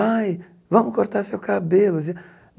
Ai, vamos cortar seu cabelo. Dizia